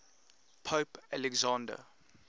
pope alexander